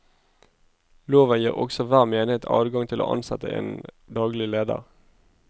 Loven gir også hver menighet adgang til å ansette en daglig leder.